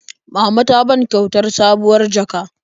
Mama ta ta ban kyautar sabuwar jaka.